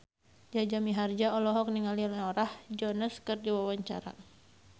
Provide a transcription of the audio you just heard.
Jaja Mihardja olohok ningali Norah Jones keur diwawancara